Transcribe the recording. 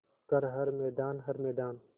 कर हर मैदान हर मैदान